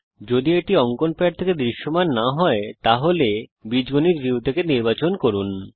যদি এটি অঙ্কন প্যাড থেকে দৃশ্যমান না হয় দয়া করে এটি বীজগণিত ভিউ থেকে নির্বাচন করুন